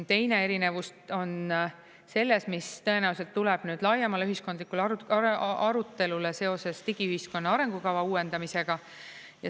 Teine erinevus on selles, mis tõenäoliselt tuleb laiemale ühiskondlikule arutelule seoses digiühiskonna arengukava uuendamisega.